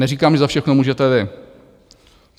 Neříkám, že za všechno můžete vy.